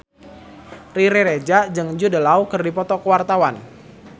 Riri Reza jeung Jude Law keur dipoto ku wartawan